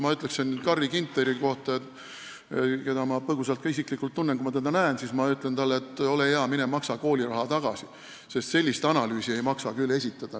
Ma ütleksin Carri Ginterile – ma tunnen teda põgusalt ka isiklikult –, kui ma teda näeksin, et ole hea ja mine maksa kooliraha tagasi, sest sellist analüüsi ei maksa küll esitada.